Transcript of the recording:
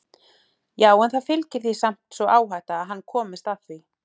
Já en það fylgir því samt sú áhætta að hann komist að því.